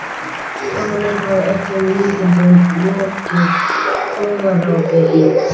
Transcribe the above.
Kona mín hafði að öllum líkindum lokið búðarápi í